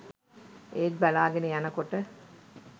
ඒත් බලාගෙන යනකොට